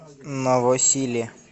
новосиле